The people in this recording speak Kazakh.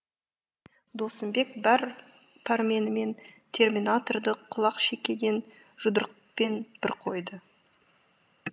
досымбек бар пәрменімен терминаторды құлақшекеден жұдырықпен бір қойды